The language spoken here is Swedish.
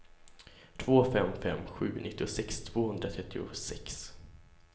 två fem fem sju nittiosex tvåhundratrettiosex